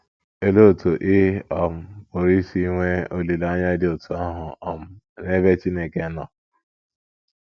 Olee otú ị um pụrụ isi nwee olileanya dị otú ahụ um n’ebe Chineke nọ?